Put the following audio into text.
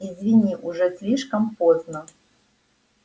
извини уже слишком поздно